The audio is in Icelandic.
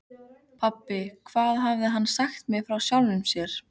Pabbi, hvað hafði hann sagt mér frá sjálfum sér?